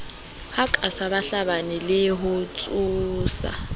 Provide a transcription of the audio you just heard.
hakatsa bahlabani le ho tshosa